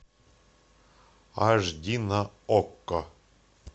аш ди на окко